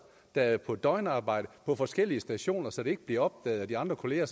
der er på døgnarbejde på forskellige stationer så det ikke bliver opdaget af de andre kolleger